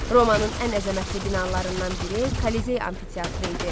Romanın ən əzəmətli binalarından biri Kollizey amfiteatrı idi.